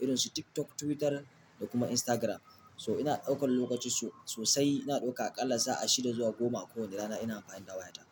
Irin su TikTok, Twitter da kuma Instagram. So ina ɗaukan lokaci so-sosai. Ina ɗaukar aƙalla sa'a shidda zuwa goma a kowane rana ina amfani da waya ta.